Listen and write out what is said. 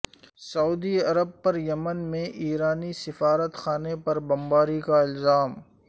سعودی عرب پر یمن میں ایرانی سفارت خانے پر بمباری کا الزام